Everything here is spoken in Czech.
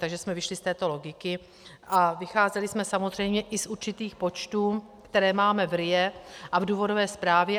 Takže jsme vyšli z této logiky a vycházeli jsme samozřejmě i z určitých počtů, které máme v RIA a v důvodové zprávě.